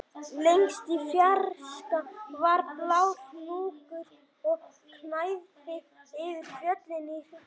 Lengst í fjarska var blár hnúkur og gnæfði yfir fjöllin í kring